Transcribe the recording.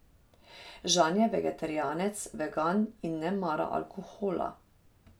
Žan je vegetarijanec, vegan in ne mara alkohola.